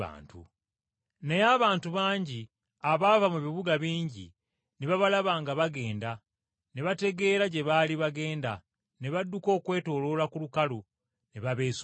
Naye abantu bangi abaava mu bibuga bingi ne babalaba nga bagenda ne bategeera gye baali bagenda ne badduka okwetooloola ku lukalu ne babeesookayo.